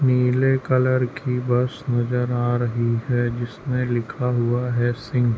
नीले कलर की बस नज़र आ रही है जिसमे लिखा हुआ है सिंग --